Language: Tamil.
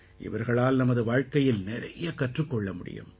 இவர்களால் நமது வாழ்க்கையில் நிறைய கற்றுக் கொள்ள முடியும்